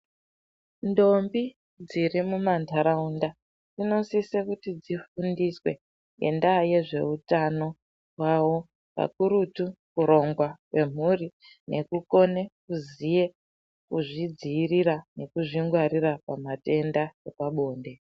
Ntombi dziri mumandaraunda dzinosisa kuti dzifundiswe ngendaa yezveutano wavo pakurutu kuronga ngemhuri nekukone kuzvidzivirira nekuzvingwarira pamatenda epabonde.